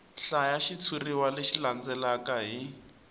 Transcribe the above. hlaya xitshuriwa lexi landzelaka hi